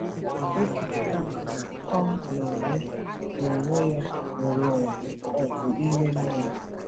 O kwuru, kama, na ọ n’onwe n’onwe ya nwere ọgụ ime mmụọ.